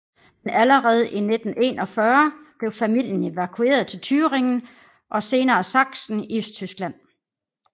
Men allerde i 1941 blev familien evakueret til Thüringen og senere Saksen i Østtyskland